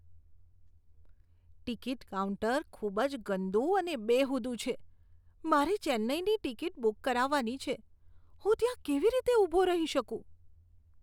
Ticket counter ખૂબ જ ગંદુ અને બેહુદુ છે. મારે ચેન્નઈની ટિકિટ બુક કરાવવાની છે, હું ત્યાં કેવી રીતે ઊભો રહી શકું?